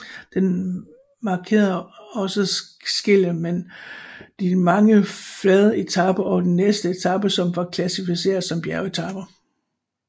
Den markerede også skillet mellem de mange flade etaper og de næste etaper som var klassificeret som bjergetaper